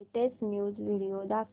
latest news video दाखव